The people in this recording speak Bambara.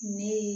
Ni